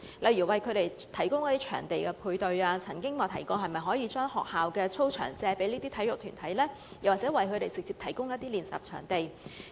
例如為他們提供場地配對——我曾經提議是否可以讓這些體育團體借用學校操場作訓練用途呢？